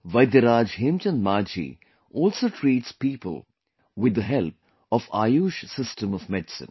Vaidyaraj Hemchand Manjhi also treats people with the help of AYUSH system of medicine